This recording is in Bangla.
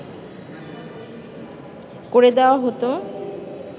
করে দেয়া হতো